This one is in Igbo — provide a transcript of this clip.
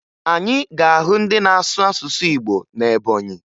Anyị ga-ahụ ndị na-asụ asụsụ Igbo na Ebọnyị